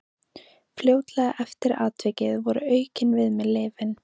Fljótlega eftir atvikið voru aukin við mig lyfin.